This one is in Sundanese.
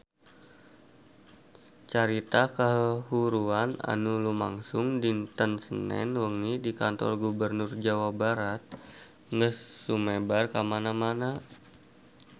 Carita kahuruan anu lumangsung dinten Senen wengi di Kantor Gubernur Jawa Barat geus sumebar kamana-mana